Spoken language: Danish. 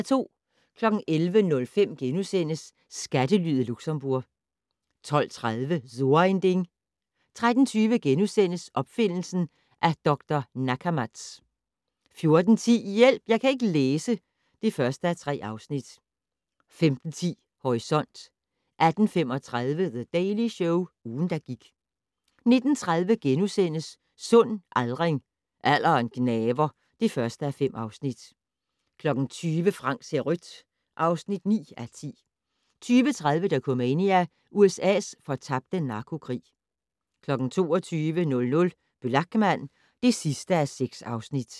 11:05: Skattelyet Luxembourg * 12:30: So ein Ding 13:20: Opfindelsen af Dr. Nakamats * 14:10: Hjælp! Jeg kan ikke læse (1:3) 15:10: Horisont 18:35: The Daily Show - ugen, der gik 19:30: Sund aldring - Alderen gnaver (1:5)* 20:00: Frank ser rødt (9:10) 20:30: Dokumania: USA's fortabte narkokrig 22:00: Blachman (6:6)